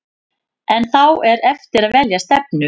En þá er eftir að velja stefnu.